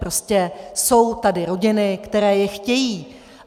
Prostě jsou tady rodiny, které je chtějí.